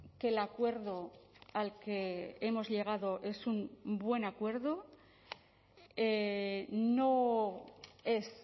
que el acuerdo al que hemos llegado es un buen acuerdo no es